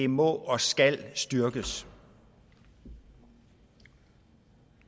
må og skal styrkes og